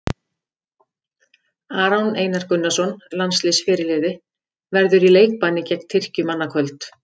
Aron Einar Gunnarsson, landsliðsfyrirliði, verður í leikbanni gegn Tyrkjum annað kvöld.